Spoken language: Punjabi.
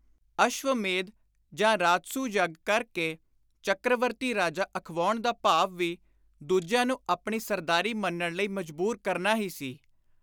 ਅਸ਼ਵ-ਮੇਧ ਜਾਂ ਰਾਜਸੂਅ ਯੱਗ ਕਰ ਕੇ ਚੱਕ੍ਰਵਰਤੀ ਰਾਜਾ ਅਖਵਾਉਣ ਦਾ ਭਾਵ ਵੀ ਦੁਜਿਆਂ ਨੂੰ ਆਪਣੀ ਸਰਦਾਰੀ ਮੰਨਣ ਲਈ ਮਜਬੂਰ ਕਰਨਾ ਹੀ ਸੀ।